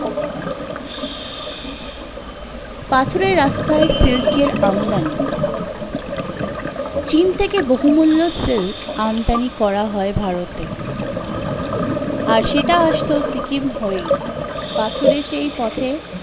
পাথরের রাস্তার সিল্কের আমদানি, চিন থেকে বহুমূল্য silk আমদানি করা হয় ভারতে, আর সেটা আসতো সিকিম হয়েই, পাথরের সেই পথে